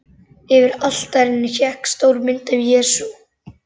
Yfir altarinu hékk stór mynd af Jesú.